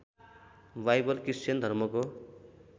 Bible Christian धर्मको